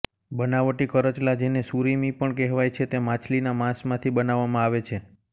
બનાવટી કરચલા જેને સુરિમી પણ કહેવાય છે તે માછલીના માંસમાંથી બનાવામાં આવે છે